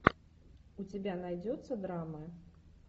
у тебя найдется драма